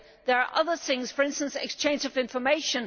there are other things, for instance, the exchange of information.